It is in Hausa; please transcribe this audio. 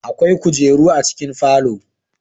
Akwai kujeru a cikin falo